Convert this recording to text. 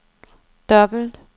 dobbelt